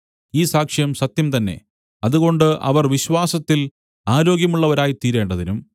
ഈ സാക്ഷ്യം സത്യം തന്നെ അതുകൊണ്ട് അവർ വിശ്വാസത്തിൽ ആരോഗ്യമുള്ളവരായിത്തീരേണ്ടതിനും